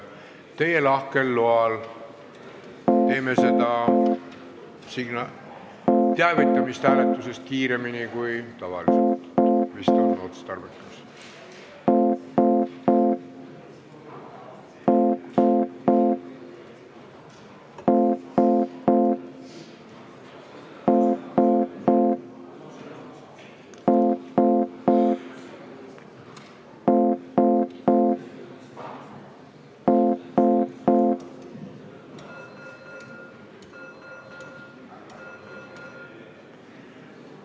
Teie lahkel loal teavitame hääletusest kiiremini kui tavaliselt, vist on otstarbekas.